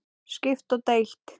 Skipt og deilt